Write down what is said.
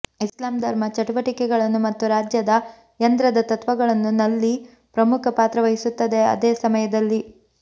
ಇಸ್ಲಾಂ ಧರ್ಮ ಚಟುವಟಿಕೆಗಳನ್ನು ಮತ್ತು ರಾಜ್ಯದ ಯಂತ್ರದ ತತ್ವಗಳನ್ನು ನಲ್ಲಿ ಪ್ರಮುಖ ಪಾತ್ರವಹಿಸುತ್ತದೆ ಅದೇ ಸಮಯದಲ್ಲಿ